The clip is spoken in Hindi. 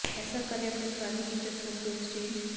ऐसे करें अपने पुराने फीचर फोन को एक्सचेंज